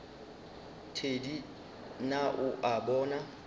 thedi na o a bona